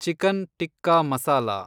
chicken tikka masala